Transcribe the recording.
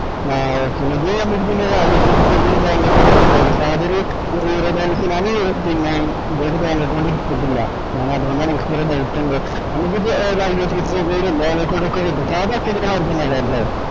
ആഹ് ഞാന് പിന്നാ bank account ഏടത്തിട്ടില്ല. ഞാന് അത്കൊണ്ടാണ് എന്ക്ക് കൊറേ doubt ഇൻടെ നമ്മ്ക്ക്